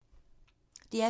DR P2